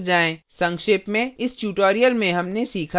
संक्षेप में इस tutorial में हमने सीखा